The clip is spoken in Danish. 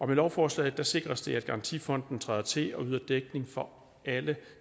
med lovforslaget sikres det at garantifonden træder til og yder dækning for alle